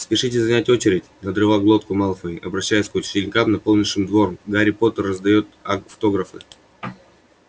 спешите занять очередь надрывал глотку малфой обращаясь к ученикам наполнившим двор гарри поттер раздаёт автографы